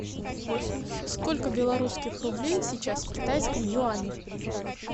сколько белорусских рублей сейчас в китайском юане